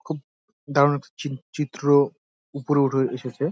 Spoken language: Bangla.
খুব দারুন চি -চিত্র উপরে উঠে এসেছে।